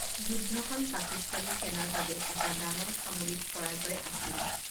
যুদ্ধখন পাকিস্তানী সেনাৰ বাবে এটা ডাঙৰ সামৰিক পৰাজয় আছিল।